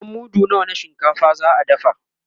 kaman mudu nawa na shinkafa za'a dafa?